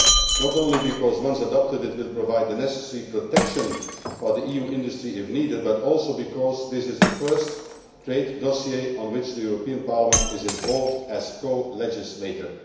not only because, once adopted, it will provide the necessary protection for the EU industry if needed, but also because this is the first trade dossier on which the European Parliament is involved as colegislator.